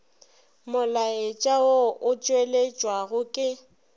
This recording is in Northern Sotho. molaetša wo o tšweletšwago ke